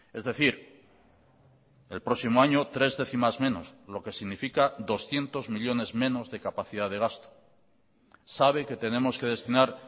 es decir el próximo año tres décimas menos lo que significa doscientos millónes menos de capacidad de gasto sabe que tenemos que destinar